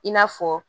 I n'a fɔ